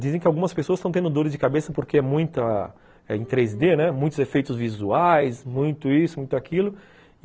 Dizem que algumas pessoas estão tendo dores de cabeça porque é em três dê, muitos efeitos visuais, muito isso, muito aquilo.